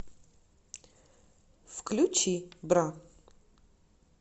включи бра